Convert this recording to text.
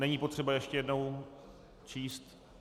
Není potřeba ještě jednou číst?